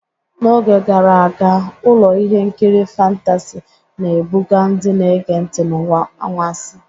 N'oge gara aga, ụlọ ihe nkiri fantasị na-ebuga ndị na-ege ntị n'ụwa anwansi.